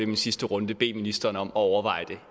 min sidste runde bede ministeren om at overveje det